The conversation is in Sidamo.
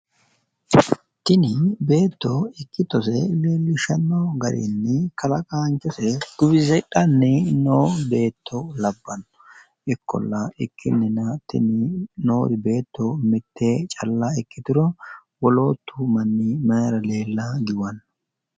Tini beetto ikkitose leellishshanno garinni kalaqaanchose guwusidhanni noo beetto labbanno. Ikkolla ikkinnina tini noori beetto mitte calla ikkituro wolootu mannu mayira leella giwanno?